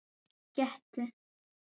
Gettu